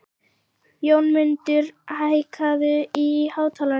Jónmundur, hækkaðu í hátalaranum.